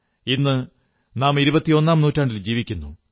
ഇന്നു നാം ഇരുപത്തിയൊന്നാം നൂറ്റാണ്ടിൽ ജീവിക്കുന്നു